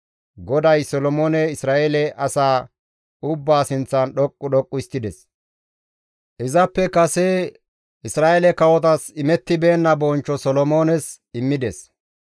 GODAY Solomoone Isra7eele asaa ubbaa sinththan dhoqqu dhoqqu histtides; izappe kase Isra7eele kawotas imettibeenna; bonchcho Solomoones immides.